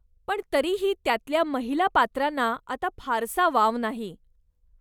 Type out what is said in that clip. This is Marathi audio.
पण तरीही त्यातल्या महिला पात्रांना आता फारसा वाव नाही.